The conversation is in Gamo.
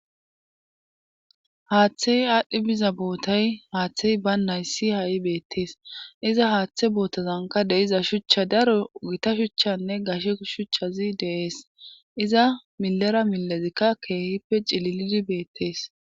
haaththey aadhdhi biza bootay haaththey ba nayssi ha7i beettees iza haaththe bootazanka de'iza shuchcha daro gita shuchchanne gashe shuchchazi deees iza milera milezikka keehippe cililidi beettees